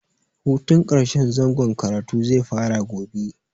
Hutun ƙarshen zangon karatu zai fara gobe.